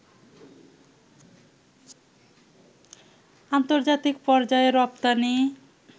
আন্তর্জাতিক পর্যায়ে রপ্তানি